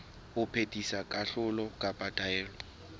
ho phethisa kahlolo kapa taelo